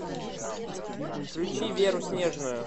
включи веру снежную